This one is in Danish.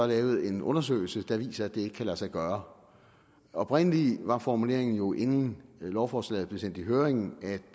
lavet en undersøgelse der viser at det ikke kan lade sig gøre oprindelig var formuleringen jo inden lovforslaget blev sendt i høring at